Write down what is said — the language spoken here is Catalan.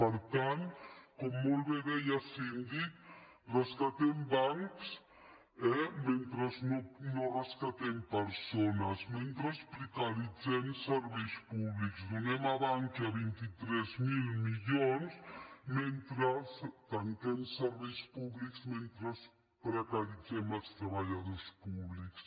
per tant com molt bé deia el síndic rescatem bancs eh mentre no rescatem persones mentre precaritzem serveis públics donem a bankia vint tres mil milions mentre tanquem serveis públics mentre precaritzem els treballadors públics